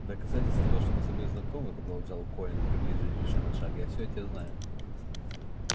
в доказательство того что мы с тобой знакомы продолжал колин приблизившись ещё на шаг я всё о тебе знаю